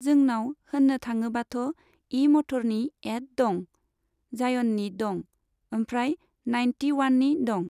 जोंनाव होननो थाङोबाथ' इ मथरनि एड दं, जाइअननि दं, ओमफ्राय नाइनथि वाननि दं।